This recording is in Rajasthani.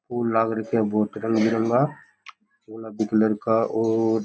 फूल लग रखे है बहुत रंग बिरंगा गुलाबी कलर का और --